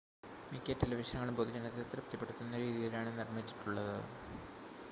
മിക്ക ടെലിവിഷനുകളും പൊതുജനത്തെ തൃപ്തിപ്പെടുത്തുന്ന രീതിയിലാണ് നിർമ്മിച്ചിട്ടുള്ളത്